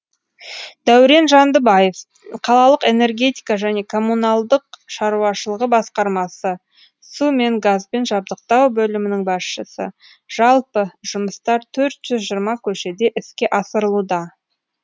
дәурен жандыбаев қалалық энергетика және коммуналдық шаруашылығы басқармасы су мен газбен жабдықтау бөлімінің басшысы жалпы жұмыстар төрт жүз жиырма көшеде іске асырылуда